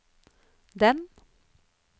den